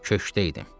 Köşkdəydim.